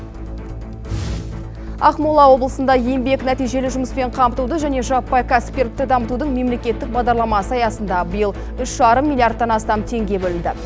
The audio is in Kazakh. ақмола облысында еңбек нәтижелі жұмыспен қамтуды және жаппай кәсіпкерлікті дамытудың мемлекеттік бағдарламасы аясында биыл үш жарым миллиардтан астам теңге бөлінді